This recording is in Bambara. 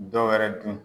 Dɔwɛrɛ dun